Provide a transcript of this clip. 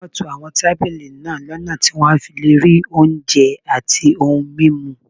Wọ́n to àwọn tábìlì náà lọ́nà tí wọ́n á fi lè rí oúnjẹ àti ohun mímu